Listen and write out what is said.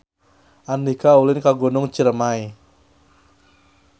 Andika ulin ka Gunung Ciremay